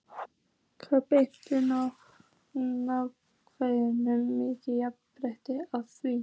Við berum nákvæmlega jafn mikla ábyrgð á því.